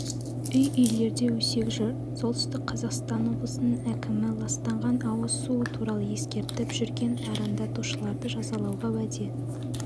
үй-үйлерде өсек жүр солтүстік қазақстан облысының әкімі ластанған ауыз суы туралы ескертіп жүрген арандатушыларды жазалауға уәде